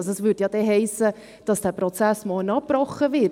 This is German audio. Das hiesse sonst, dass der Prozess morgen abgebrochen würde;